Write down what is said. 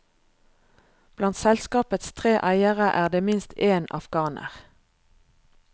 Blant selskapets tre eiere er det minst én afghaner.